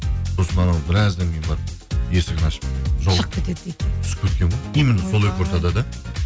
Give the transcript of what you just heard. сосын анау біраздан кейін барып есігін ашып шығып кетеді дейді де түсіп кеткен ғой именно сол екі ортада да